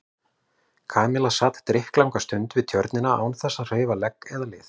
Kamilla sat drykklanga stund við Tjörnina án þess að hreyfa legg eða lið.